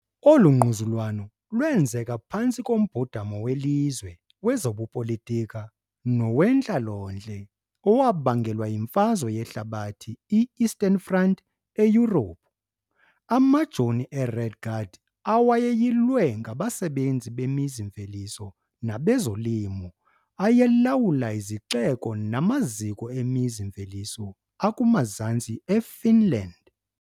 Olu ngquzulwano lwenzeka phantsi kombhodamo welizwe, wezobupolitika nowentlalontle owabangelwa yiMfazwe Yehlabathi I, Eastern Front, eYurophu. Amajoni aRed Guard, awayeyilwe ngabasebenzi bemizi-mveliso nabezolimo, ayelawula izixeko namaziko emizi-mveliso akumazantsi eFinland.